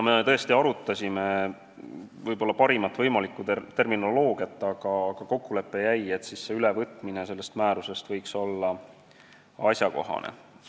Me arutlesime parima võimaliku terminoloogia üle ja kokkulepe jäi, et selle mõiste ülevõtmine sellest määrusest võiks olla asjakohane.